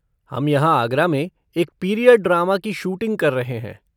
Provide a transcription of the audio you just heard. हम यहाँ आगरा में एक पीरियड ड्रामा की शूटिंग कर रहे हैं।